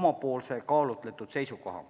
oma kaalutletud seisukoha.